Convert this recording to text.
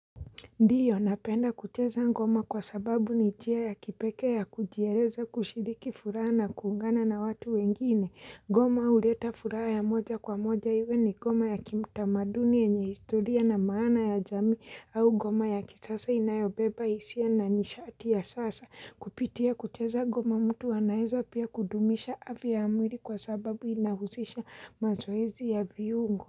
Ndiyo napenda kucheza ngoma kwa sababu ni njia ya kipekee ya kujereza kushidiki furaha na kuungana na watu wengine. Goma uleta furaha ya moja kwa moja iwe ni goma ya kimtamaduni enye historia na maana ya jamii au goma ya kisasa inayobeba hisia na nishati ya sasa. Kupitia kucheza goma mtu anaeza pia kudumisha afya ya mwili kwa sababu inahuzisha mazoezi ya viungo.